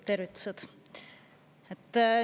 Tervitused!